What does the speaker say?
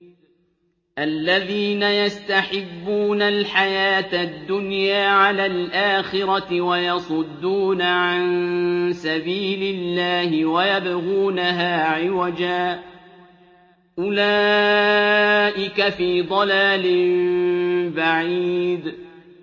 الَّذِينَ يَسْتَحِبُّونَ الْحَيَاةَ الدُّنْيَا عَلَى الْآخِرَةِ وَيَصُدُّونَ عَن سَبِيلِ اللَّهِ وَيَبْغُونَهَا عِوَجًا ۚ أُولَٰئِكَ فِي ضَلَالٍ بَعِيدٍ